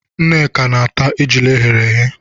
Nnameka na-ata ejula eghere eghe.